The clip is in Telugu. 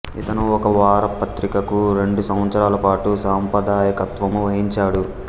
ఇతను ఒక వారపత్రికకు రెండు సంవత్సరాల పాటు సంపాదకత్వము వహించాడు